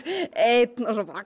eins og svo